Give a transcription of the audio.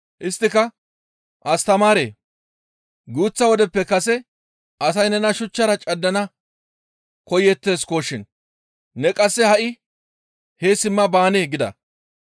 Isttika, «Astamaaree! Guuththa wodeppe kase asay nena shuchchara caddana koyeetteskoshin; ne qasse ha7i hee simma baanee?» gida.